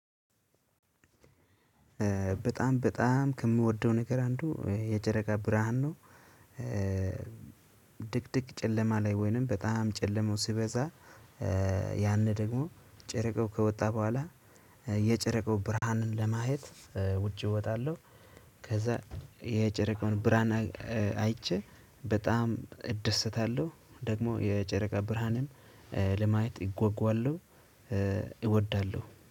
በጣም በጣም ከምወደው ነገር አንዱ የጨረቃ ብርሃን ነው። ድቅድቅ ጨለማ ላይ ወይንም በጣም ጨለማው ስበዛ። ያኔ ደግሞ ጨረቃው ከወጣ በኋላ የጨረቃው ብርሃን ለማየት ውጪ እወጣለው። ከዛ የጨረቃውን ብርሃን አይቼ በጣም እደሰታለሁ። ደግሞ የጨረቃ ብርሃንን ለማየት እጓጓለው እወዳለው